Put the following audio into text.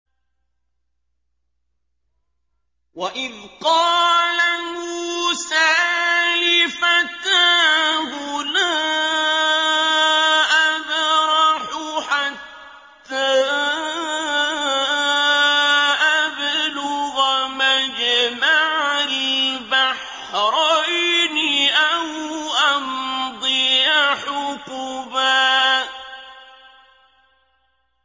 وَإِذْ قَالَ مُوسَىٰ لِفَتَاهُ لَا أَبْرَحُ حَتَّىٰ أَبْلُغَ مَجْمَعَ الْبَحْرَيْنِ أَوْ أَمْضِيَ حُقُبًا